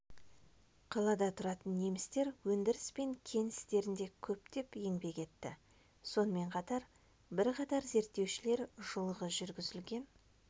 қалада тұратын немістер өндіріс пен кен істерінде көптеп еңбек етті сонымен қатар бірқатар зерттеушілер жылғы жүргізілген